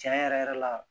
Tiɲɛ yɛrɛ yɛrɛ la